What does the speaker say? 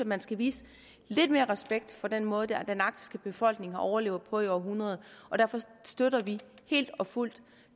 man skal vise lidt mere respekt for den måde den arktiske befolkning har overlevet på i århundreder og derfor støtter vi helt og fuldt